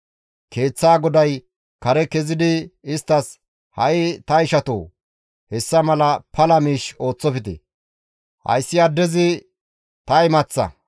Keeththaa goday kare kezidi isttas, «Ha7i ta ishatoo! Hessa mala pala miish ooththofte; hayssi addezi ta imaththa.